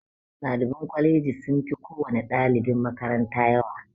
Ɗaliban kwalaji sun fi kowani ɗalibin makaranta yawa